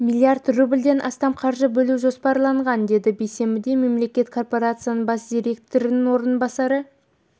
миллиард рулбьден астам қаржы бөлу жоспарланған деді бейсенбіде мемлекеттік корпорациясының бас директорының орынбасары